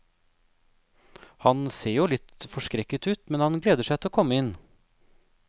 Han ser jo litt forskrekket ut, men han gleder seg til å komme inn.